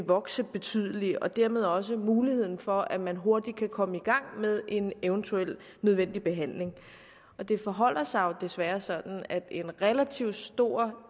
vokse betydeligt og dermed også muligheden for at man hurtigt kan komme i gang med en eventuel nødvendig behandling det forholder sig jo desværre sådan at en relativt stor